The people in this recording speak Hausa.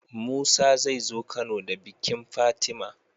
Musa zai zo kano da bikin fatima